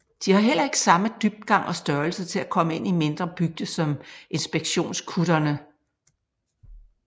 De har heller ikke samme dybgang og størrelse til at komme ind i mindre bygder som inspektionskutterne